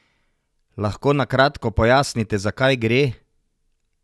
Lahko na kratko pojasnite, za kaj gre?